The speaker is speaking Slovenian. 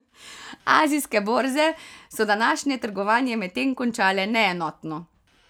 Azijske borze so današnje trgovanje medtem končale neenotno.